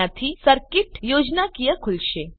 આનાથી સર્કીટ યોજનાકીય ખુલશે